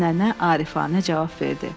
Nənə arifəcə cavab verdi.